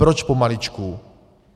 Proč pomaličku?